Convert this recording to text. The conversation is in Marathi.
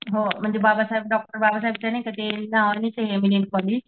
हो म्हणजे बाबासाहेब डॉक्टर बाबासाहेबच ते नाही का ते